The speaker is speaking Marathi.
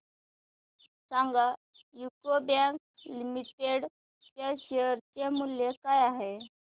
सांगा यूको बँक लिमिटेड च्या शेअर चे मूल्य काय आहे